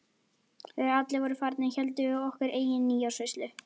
Þegar allir voru farnir héldum við okkar eigin nýársveislu.